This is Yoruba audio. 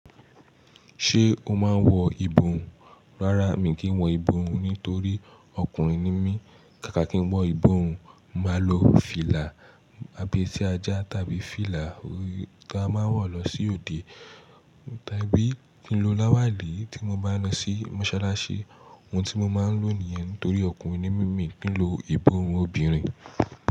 Ṣé o máa ń wọ ìbòrùn? Rárá mi kì í wọ ìbòrùn torí ọkùnrin ni mí. Kàkà kí n wọ ìbòhùn, màá lo fìlà abẹ́ tí ajá tàbí fìlà tí a máa ń wọ̀ lọ sí òde tàbí kí n lo láwàlí tí mo bá ń lọ sí mọ́sálásí. Ohun tí mo máa ń lò nìyẹn torí ọkùnrin ni mí, kì í lo ìbòhùn obìnrin.